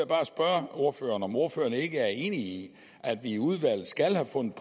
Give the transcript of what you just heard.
bare spørge ordføreren om ordføreren ikke er enig i at vi i udvalget skal have fundet